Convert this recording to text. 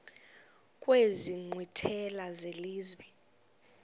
kwezi nkqwithela zelizwe